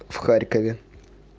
в харькове